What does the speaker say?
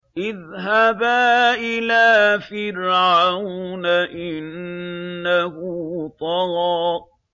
اذْهَبَا إِلَىٰ فِرْعَوْنَ إِنَّهُ طَغَىٰ